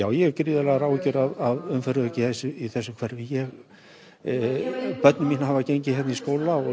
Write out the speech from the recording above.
ég hef gríðarlegar áhyggjur af umferðaröryggi í hverfinu börn mín og barnabörn hafa gengið hér til skóla og